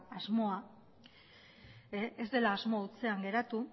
asmoa ez dela asmo hutsean geratu